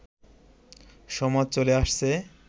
সমাজে চলে আসছে